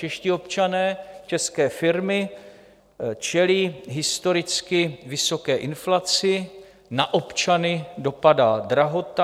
Čeští občané, české firmy čelí historicky vysoké inflaci, na občany dopadá drahota.